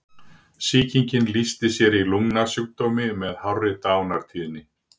Sýkingin lýsti sér í lungnasjúkdómi með hárri dánartíðni.